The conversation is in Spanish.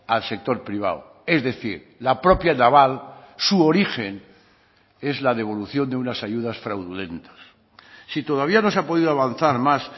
al sector privado es decir la propia naval su origen es la devolución de unas ayudas fraudulentas si todavía no se ha podido avanzar más